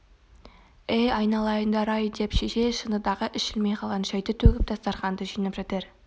әй айналайындар-ай деп шешей шыныдағы ішілмей қалған шайды төгіп дастарқанды жинап жатыр